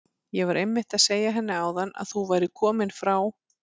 Ég var einmitt að segja henni áðan að þú værir kominn frá